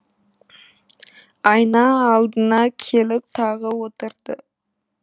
айна алдына келіп тағы отырды